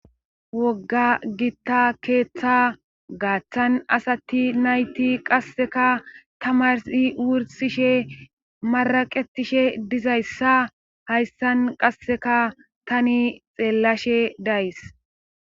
Wogga gitta keeththa gaaththan asati nayti qasseka tamarssi wursishe maraqetishe dizayssa hayssan qasseka tani xeellashe days